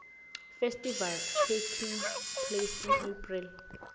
festivals taking place in april